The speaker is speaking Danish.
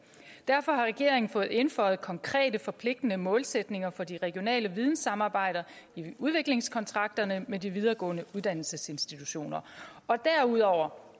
derfor har regeringen fået indføjet konkrete forpligtende målsætninger for de regionale videnssamarbejder i udviklingskontrakterne med de videregående uddannelsesinstitutioner derudover